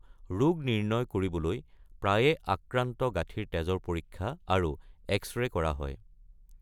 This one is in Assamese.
ৰোগ নিৰ্ণয় কৰিবলৈ প্ৰায়ে আক্ৰান্ত গাঁঠিৰ তেজৰ পৰীক্ষা আৰু এক্স-ৰে কৰা হয়।